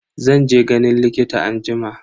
Zan je ganin likita anjima.